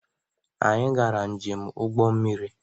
Anyị gara njem ụgbọ mmiri.